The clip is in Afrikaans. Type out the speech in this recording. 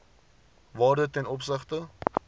waarde ten opsigte